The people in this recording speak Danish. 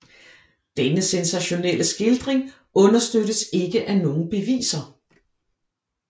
Denne sensationelle skildring understøttes ikke af nogen beviser